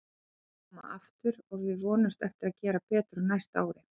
Við munum koma aftur og við vonumst eftir að gera betur á næsta ári.